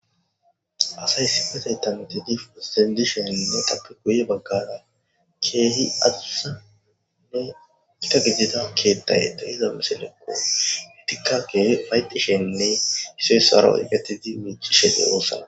Asay issipetetan utidi disheninne guye bagara kehi adusa gita gidida kethay de'za missilekko etika kehi ufaytisheninne issoy isuwara oyqetid mic'ishe de'osona.